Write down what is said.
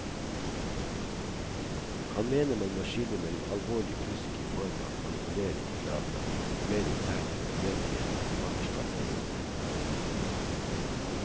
Han mener man må skille mellom alvorlig fusk i form av manipulering med data, og mer intern uenighet om forfatterskap og lignende.